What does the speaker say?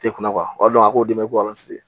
Tɛ kɔn walima a k'o dɛmɛ k'o